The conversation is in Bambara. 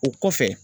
O kɔfɛ